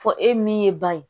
Fɔ e min ye ban ye